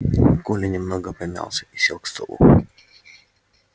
коля немного помялся и сел к столу